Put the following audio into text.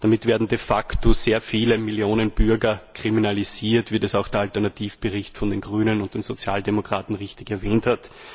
Damit werden de facto sehr viele Millionen Bürger kriminalisiert, wie das auch der Alternativbericht der Grünen und der Sozialdemokraten richtig erwähnt hat.